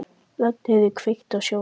Ragnheiður, kveiktu á sjónvarpinu.